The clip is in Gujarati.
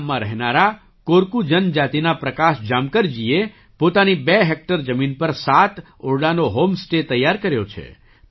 આ ગામમાં રહેનારા કોરકુ જનજાતિના પ્રકાશ જામકરજીએ પોતાની બે હૅક્ટર જમીન પર સાત ઓરડાનો હૉમ સ્ટે તૈયાર કર્યો છે